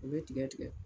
U bɛ tigɛ tigɛ